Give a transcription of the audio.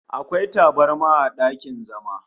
Akwai tabarma a dakin zama